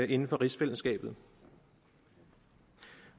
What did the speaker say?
inden for rigsfællesskabet